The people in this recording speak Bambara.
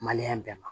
bɛɛ ma